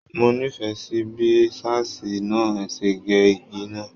Mo nífẹẹ sí bí ṣáásí náà ṣe ge ìgi náà.